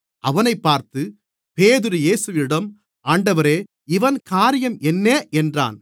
அவனைப் பார்த்து பேதுரு இயேசுவிடம் ஆண்டவரே இவன் காரியம் என்ன என்றான்